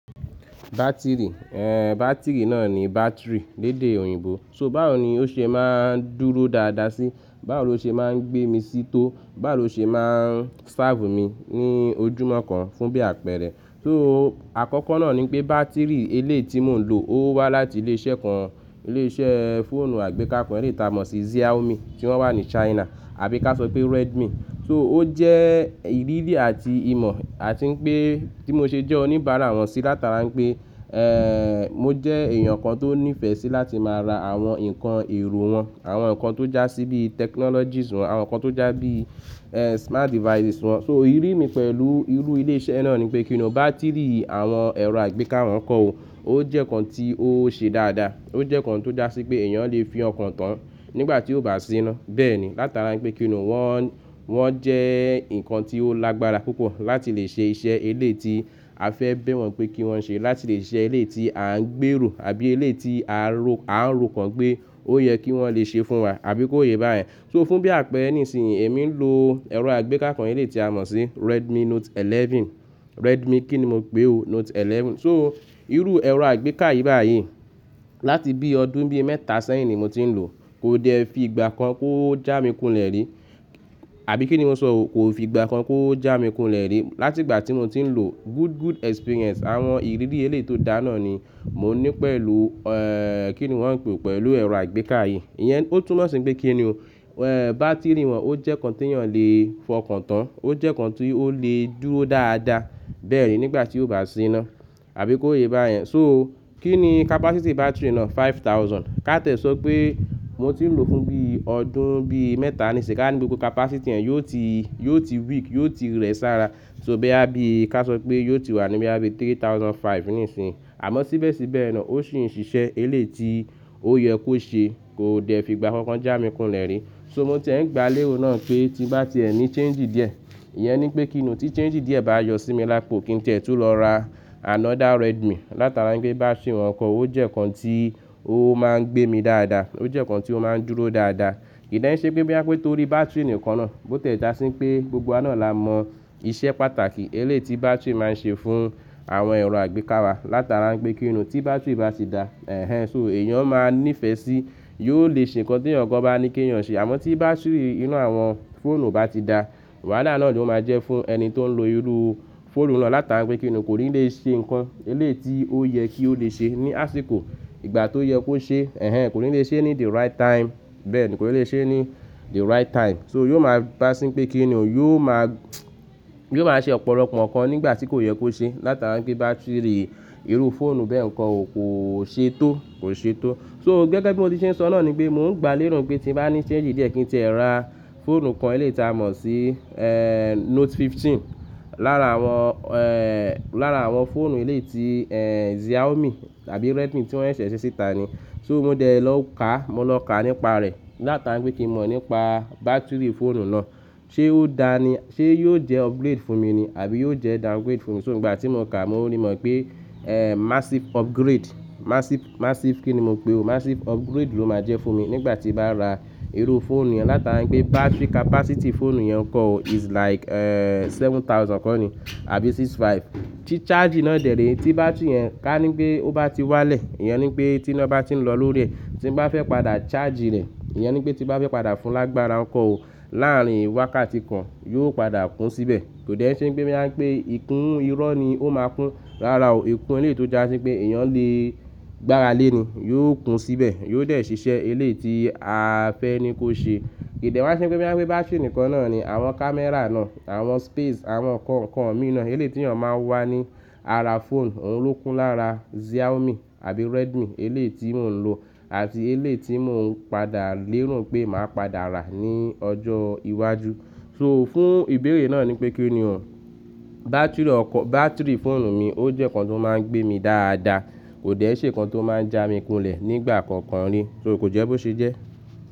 Battery, ehn battery náà ni battery lédé òyìnbó. So báwo ni ó ṣe máa ń dúró dáadáa sí, báwo lo ṣe máa ń gbé mi sí tó, báwo lo ṣe máa ń serve mi ní ojúmọ́ kan fún bí àpẹ̀rẹ́. So àkọ́kọ́ náà ni pé battery eléyi ti mò ń lò ó wá láti ilé iṣẹ́ kan, ilé iṣẹ́ fóònù àgbéká kan eléyi ti a mọ̀ sí Xiaomi tí wọ́n wà ní China àbí ká sọ pé Redmi. So ó jẹ́ ìrírí àti ìmọ̀ àti pé tí mo ṣe jẹ́ oníbàárà wọn sí látara pé, mo jẹ́ èèyàn kan tó nífẹ̀ẹ́ sí láti máa ra àwọn nǹkan èrò wọn, àwọn nǹkan tó já sí bíi technologies wọn, àwọn nǹkan tó já sí bíi smart devices wọn. So ìrírí mi pẹ̀lú irú ilé iṣẹ́ náà ni pé kí ni ọ́ battery àwọn ẹ̀rọ àgbéká wọn kọ́ o, ó jẹ́ nǹkan tí ó ṣe dáadáa, ó jẹ́ nǹkan tó dá sí pé èèyàn lè fi ọkàn tán nígbà tí ó bá ti sina. Bẹ́ẹ̀ni, látara pé kí ni ọ́ wọn, wọn jẹ́ nǹkan tí ó lágbára púpọ̀ láti lè ṣe iṣẹ́ eléyi ti a fẹ́ bẹ̀ wọ́n pé kí wọ́n ṣe, láti lè ṣe eléyi ti à ń gbèrò àbí eléyi ti a rò, a ń ro kan pé ó yẹ kí wọ́n lè ṣe fún wa àbí kó yé bá yẹn. So fún bí àpẹ́ere nísinsìnyí èmi ń lo ẹ̀rọ àgbéká kan eléyi ti a mọ̀ sí Redmi Note Eleven. Redmi kí ni mo pé o? Note Eleven. So irú ẹ̀rọ àgbéká yìí bá yii láti bí ọdún bí mẹ́ta sẹ́yìn ni mo ti ń lò, kò dẹ́ẹ́ fi ìgbà kan kó já mi kunlẹ̀ rí. Àbí kí ni mo sọ o, kò fi ìgbà kan kó já mi kunlẹ̀ rí. Láti ìgbà tí mo ti ń lò, good, good experience àwọn ìrírí eléyi tó dá náà ni mò ń ní pẹ̀lú ẹ́ kí ni wọ́n ń pè é pẹ̀lú ẹ̀rọ àgbéká yìí. Iyẹn ó túnmọ̀ sí pé kí ni ọ́ ẹ́ battery wọn ó jẹ́ nǹkan tí èèyàn lè fọkàn tán, ó jẹ́ nǹkan tí ó lè dúró dáadáa. Bẹ́ẹ̀ni nígbà tí ó bá ti sina àbí kó yé bá yẹn. So kí ni capacity battery náà? Five thousand. Ká tiẹ́ sọ pé mo ti ń lò fún bí ọdún bí mẹ́ta ni sì ká ní gbogbo capacity ẹ́ yóò ti, yóò ti weak, yóò ti rẹ̀ sára. So bóyá bí ká sọ pé yóò ti wà ní bóyá bí three thousand five nísinsìnyí. Àmọ́ síbẹ̀síbẹ̀ náà ó sì ń ṣiṣẹ́ eléyi ti ó yẹ kó ṣe, kò dẹ́ẹ́ fi ìgbà kankan já mi kunlẹ̀ rí. So mo ti è ń gba lérò náà pé tí bá ti ẹ ní change díẹ̀, iyẹn ni pé kí ni ọ́ tí change díẹ̀ bá yọ sí mi lápò kí n ti ẹ́ tún lọ ra another Redmi látara pé battery wọn kọ́ ó jẹ́ nǹkan tí ó máa ń gbé mi dáadáa, ó jẹ́ nǹkan tí ó máa ń dúró dáadáa. Kì í den ì ṣe pé bóyá pé tó rí bátìrì nǹkan náà, bó tiẹ́ dá sí pé gbogbo wa náà la mọ iṣẹ́ pàtàkì eléyi tí bátìrì máa ń ṣe fún àwọn ẹ̀rọ àgbékára látara n pé kí ni ọ́ tí battery bá ti dá, ẹ̀hen. So èèyàn máa ní ìfẹ́ sí, yóò lè ṣe nǹkan tí ẹ̀yàn kan bá ní kí èèyàn ṣe. Àmọ́ tí battery inú àwọn fóònù ò bá ti dáá, wàhálà náà ni ó máa jẹ́ fún ẹni tó ń lo irú fóònù náà látara pé kí ni ọ́ kò ní lè ṣe nǹkan eléyi ti ó yẹ kí ó lè ṣe ní àsìkò ìgbà tó yẹ kó ṣe. Ẹ̀hen kò ní lè ṣe é ní the right time. Bẹ́ẹ̀ni, kò lè ṣe é ní the right time. So yóò máa gbá sí pé kí ni ọ́ yóò máa, yóò máa ṣe ọ̀pọ̀lọpọ̀ nǹkan nígbà tí kò yẹ kó ṣe látara n pé battery irú fóònù bẹ́ẹ̀ nǹkan o kò ṣe tó, kò ṣe tó. So gẹ́gẹ́ bí mo ti ṣe ń sọ náà ni pé mò ń gba lérò pé tí bá ní change díẹ̀ kí n tẹ́ ẹ ra fóònù kan eléyi ti a mọ̀ sí ẹ́ Note Fifteen lára àwọn, lára àwọn fóònù eléyi ti ẹ́ Xiaomi tàbí Redmi tí wọ́n ṣẹ̀ ṣíṣe síta ni. So mo dẹ̀ lọ ká, mo lọ ká nípa rẹ̀ látara n pé kí mò nípa battery fóònù náà. Ṣé ó dáa ni? Ṣé yóò jẹ́ upgrade fún mi ni àbí yóò jẹ́ downgrade fún mi? So ìgbà tí mo ká mo rí mọ̀ pé ẹ́ massive upgrade, massive, massive kí ni mo pé o? Massive upgrade ló máa jẹ́ fún mi nígbà tí bá ra irú fóònù yẹn látara n pé battery capacity fóònù yẹn kọ́ o is like ẹ́ seven thousand kọ́ ni àbí six five. Tí charge náà dẹ̀ rí, tí bátìrì yẹn ká ní pé ó bá ti wá lẹ̀, iyẹn ni pé tí iná bá ti ń lọ lórí rẹ̀, tí ń bá fẹ́ padà charge rẹ̀, iyẹn ni pé tí bá fẹ́ padà fún lágbára kọ́ o láàárín wákàtí kan yóò padà kún síbẹ̀. Kò dẹ́ẹ́ n ṣe pé boyá pé ìkún irọ́ ni ó máa kún. Rárá o, ìkún eleyi tó dá sí pé èèyàn lè gbára lé ni yóò kún síbẹ̀, yóò dẹ̀ ṣiṣẹ́ eleyi tí a fẹ́ ní kó ṣe. Kì í dẹ wa n ṣe pé bóyá pé battery nikan náà ni àwọn kámẹ́rà náà, àwọn space, àwọn nǹkan kan míi naa eleyii tí èèyàn máa ń wá ní ara fóònù oun lo kún lára Xiaomi àbí Redmi eleyi tí mò ń lò àti eleyi tí mò ń padà lero pé màá padà rà ní ọjọ́ iwájú. So fún ìbéèrè náà ni pé kí ni o bátìrì ọkọ, bátìrì fóònù mi ó jẹ́ nǹkan tó máa ń gbé mi dáadáa. Kò dẹ́ẹ́ n ṣe nǹkan tó máa ń já mi kulẹ̀ nígbà kankan rí. So kò jẹ́ bó ṣe jẹ́.